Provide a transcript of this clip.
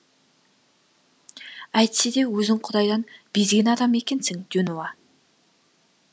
әйтсе де өзің құдайдан безген адам екенсің дюнуа